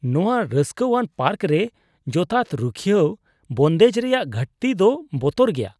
ᱱᱚᱶᱟ ᱨᱟᱹᱥᱠᱟᱹᱣᱟᱱ ᱯᱟᱨᱠ ᱨᱮ ᱡᱚᱛᱷᱟᱛ ᱨᱩᱠᱷᱤᱭᱟᱹᱣ ᱵᱚᱱᱫᱮᱡ ᱨᱮᱭᱟᱜ ᱜᱷᱟᱹᱴᱛᱤ ᱫᱚ ᱵᱚᱛᱚᱨ ᱜᱮᱭᱟ ᱾